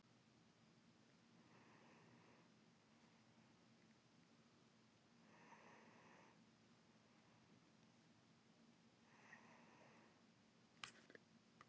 Alla malla var því ágæt lausn.